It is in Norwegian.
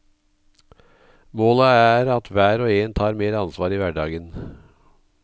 Målet er at hver og en tar mer ansvar i hverdagen.